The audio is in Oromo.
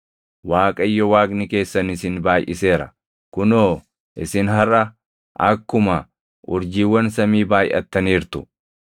Waaqayyo Waaqni keessan isin baayʼiseera; kunoo, isin harʼa akkuma urjiiwwan samii baayʼattaniirtu.